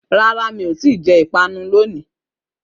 rárá, mi ò tíì jẹ ìpanu lónìí